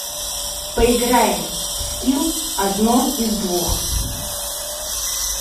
поиграем в скилл одно из двух